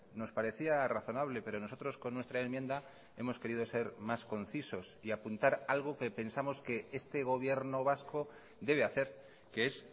nos parecía razonable pero nosotros con nuestra enmienda hemos querido ser más concisos y apuntar algo que pensamos que este gobierno vasco debe hacer que es